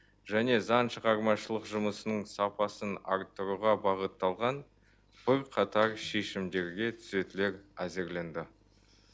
және заң шығармашылық жұмысының сапасын арттыруға бағытталған бірқатар шешімдерге түзетулер әзірленді